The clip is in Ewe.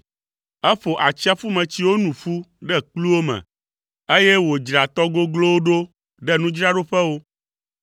Eƒo atsiaƒumetsiwo nu ƒu ɖe kpluwo me, eye wòdzra tɔ goglowo ɖo ɖe nudzraɖoƒewo.